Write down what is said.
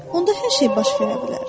Onda hər şey baş verə bilər.